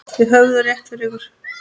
Þið höfðuð rétt fyrir ykkur.